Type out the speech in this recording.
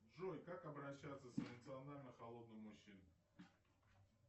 джой как обращаться с эмоционально холодным мужчиной